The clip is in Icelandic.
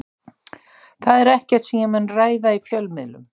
Það er ekkert sem ég mun ræða í fjölmiðlum.